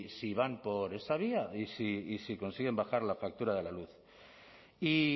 si van por esa vía y si consiguen bajar la factura de la luz y